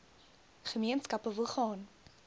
gemeenskappe wil gaan